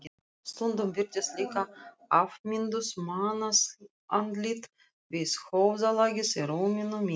Stundum birtust líka afmynduð mannsandlit við höfðalagið í rúminu mínu.